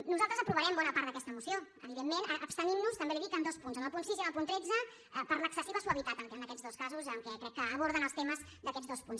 nosaltres aprovarem bona part d’aquesta moció evidentment abstenint nos també li ho dic en dos punts en el punt sis i en el punt tretze per l’excessiva suavitat en aquests dos casos amb què crec que aborden els temes d’aquests dos punts